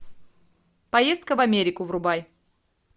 поездка в америку врубай